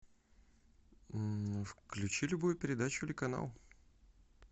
включи любую передачу или канал